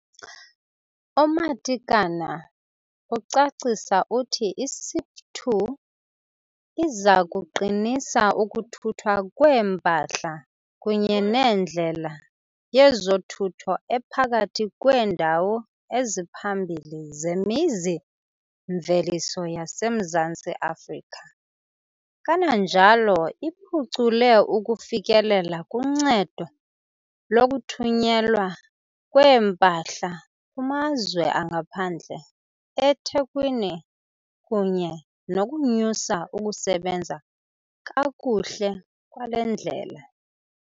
UMatekane ucacisa uthi i-SIP2 iza kuqinisa ukuthuthwa kweempahla kunye nendlela yezothutho ephakathi kweendawo eziphambili zemizi-mveliso yaseMzantsi Afrika, kananjalo iphucule ukufikelela kuncedo lokuthunyelwa kwempahla kumazwe angaphandle eThekwini kunye nokunyusa ukusebenza kakuhle kwale ndlela.